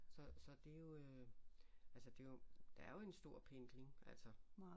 Så så det er jo øh altså det er jo der er jo en stor pendling altså